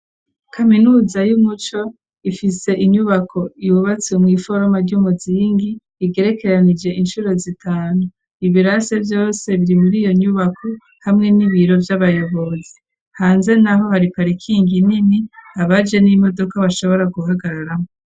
Kaminuza y'Umuco, ifise inyubako yububatsi mw'iforoma ry'umuzingi, igerekeranije incuro zitanu, ibirasi vyose biri mur'iyo nyubako hamwe n'ibiro vy'abayobozi, hanze n'aho hari parikingi nini, abaje n'imodoka bashobora guhagararamwo.